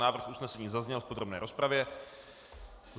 Návrh usnesení zazněl v podrobné rozpravě.